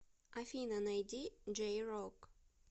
афина найди джей рок